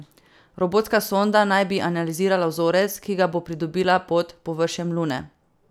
Robotska sonda naj bi analizirala vzorec, ki ga bo pridobila pod površjem Lune.